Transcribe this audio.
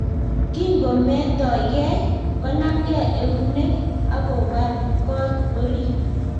Kingometokei, konamkei eunek akobar got orit